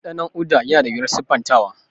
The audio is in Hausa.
Dandanon Uda yana da wuyar siffantawa.